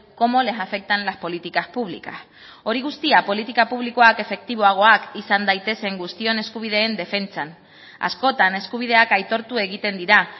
cómo les afectan las políticas públicas hori guztia politika publikoak efektiboagoak izan daitezen guztion eskubideen defentsan askotan eskubideak aitortu egiten dira